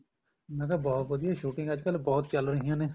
ਮੈਂ ਕਿਹਾ ਬਹੁਤ ਵਧੀਆ shooting ਅੱਜਕਲ ਬਹੁਤ ਚੱਲ ਰਹੀਆਂ ਨੇ